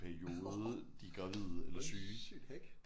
Orh sygt hack